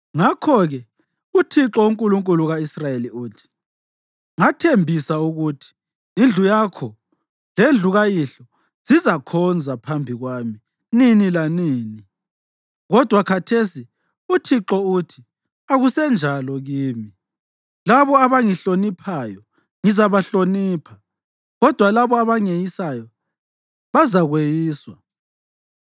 Ngakho-ke uThixo, uNkulunkulu ka-Israyeli, uthi, ‘Ngathembisa ukuthi indlu yakho lendlu kayihlo zizakhonza phambi kwami nini lanini.’ Kodwa khathesi uThixo uthi, ‘Akusenjalo kimi!’ Labo abangihloniphayo ngizabahlonipha, kodwa labo abangeyisayo bazakweyiswa.